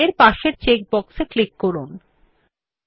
this option makes it easier to collect large outputs